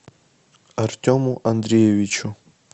артему андреевичу